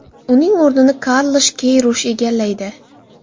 Uning o‘rnini Karlush Keyrush egallaydi.